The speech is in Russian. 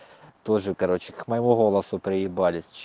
тоже короче к моему голосу приебались ч